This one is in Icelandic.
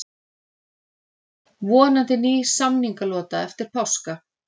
Vonandi ný samningalota eftir páska